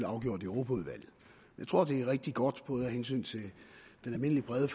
afgjort i europaudvalget jeg tror det er rigtig godt både af hensyn til den almindelige brede